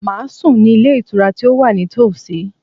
Màá sùn ní Ilé Ìtura tí ó wà ní tòsí